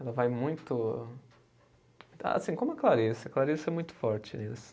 Ela vai muito, assim como a Clarice, a Clarice é muito forte nisso